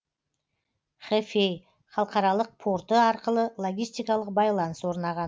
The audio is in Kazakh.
хэфэй халықаралық порты арқылы логистикалық байланыс орнаған